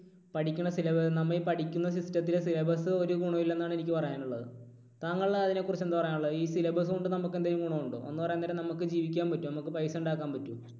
പഠിക്കുന്ന sylla നമ്മുടെ ഈ പഠിക്കുന്ന system ത്തിലെ syllabus ഒരു ഗുണവും ഇല്ലെന്നാണ് എനിക്ക് പറയാനുള്ളത്. താങ്കൾ അതിനെക്കുറിച്ച് എന്താ പറയാനുള്ളത്? ഈ syllabus കൊണ്ട് നമുക്ക് എന്തെങ്കിലും ഗുണമുണ്ടോ? എന്ന് പറയാൻ നേരം നമുക്ക് ജീവിക്കാൻ പറ്റുമോ? നമുക്ക് paisa ഉണ്ടാക്കാൻ പറ്റുമോ?